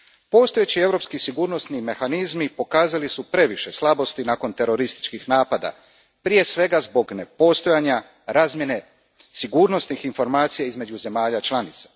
Postojeći europski sigurnosni mehanizmi pokazali su previše slabosti nakon terorističkih napada, prije svega zbog nepostojanja razmjene sigurnosnih informacija između zemalja članica.